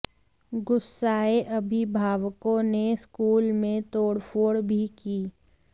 गुस्साए अभिभावकों ने स्कूल में तोड़फोड़ भी की